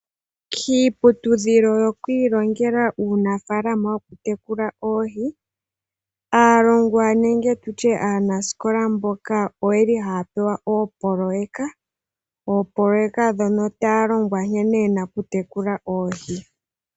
Kiiputudhilo yokwiilongela uunafalama wo kutekula oohi, aalongwa nenge tutye aanaskola mboka oyeli haya pewa opoloyeka, opoloyeka dhono talongwa nkene yena okutekula oohi.